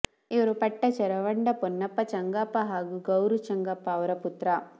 ಇವರು ಪಟ್ಟಚೆರವಂಡ ಪೊನ್ನಪ್ಪ ಚಂಗಪ್ಪ ಹಾಗೂ ಗೌರು ಚಂಗಪ್ಪ ಅವರ ಪುತ್ರ